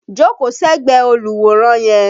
Jókóò ségbẹ̀ẹ́ olùwòran yẹn!